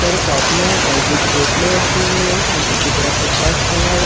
पर कॉपीया ओर कुछ बोटले रखी हुई है सामने की तरफ एक पर्स टंगा हुआ --